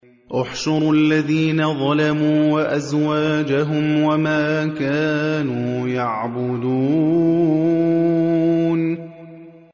۞ احْشُرُوا الَّذِينَ ظَلَمُوا وَأَزْوَاجَهُمْ وَمَا كَانُوا يَعْبُدُونَ